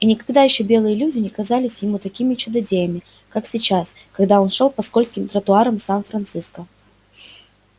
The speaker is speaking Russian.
и никогда ещё белые люди не казались ему такими чудодеями как сейчас когда он шёл по скользким тротуарам сан франциско